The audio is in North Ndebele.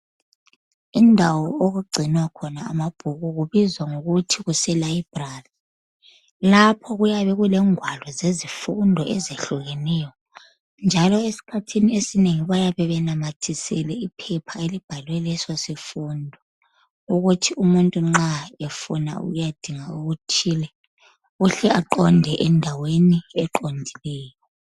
Indawo okugcinwa khona amabhuku kubizwa kuthiwa kuselibrary. Lapho kuyabe kulengwalo zezifundo ezihlukeneyo, njalo esikhathini esinengi bayabe benamathisela iphepha elibhalwe leso sifundo, ukuthi nxa umuntu efuna ukuyadinga okuthile uhle aqonde endaweni eqondileyo.